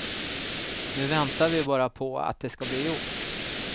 Nu väntar vi bara på att det skall bli gjort.